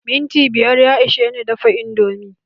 Minti biyar ya ishe ni dafa indomi.